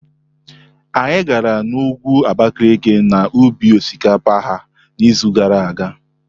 Anyị gara n'ugwu Abakalaki na ubi osikapa ha n'izu gara aga.